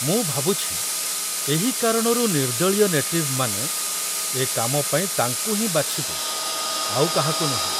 ମୁଁ ଭାବୁଛି, ଏହି କାରଣରୁ ନିର୍ଦ୍ଦଳୀୟ ନେଟିଭମାନେ ଏ କାମ ପାଇଁ ତାଙ୍କୁ ହିଁ ବାଛିବେ, ଆଉ କାହାକୁ ନୁହେଁ।